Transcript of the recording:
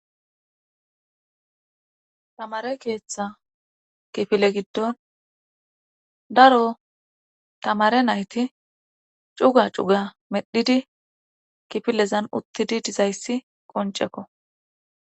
Tamare keeththa kifile giddon daro tamare nayti cuga cuga medhidi kifilezan uttidi dizayssi qoncekko.